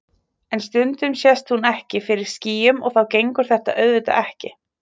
En stundum sést hún ekki fyrir skýjum og þá gengur þetta auðvitað ekki.